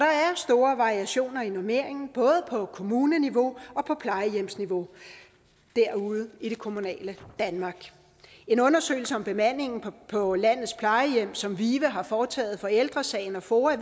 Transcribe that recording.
store variationer i normeringen både på kommuneniveau og på plejehjemsniveau derude i det kommunale danmark en undersøgelse om bemandingen på landets plejehjem som vive har foretaget for ældre sagen og foa